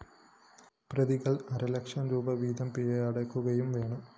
പ്രതികള്‍ അരലക്ഷം രൂപീ വീതം പിഴയൊടുക്കുകയും വേണം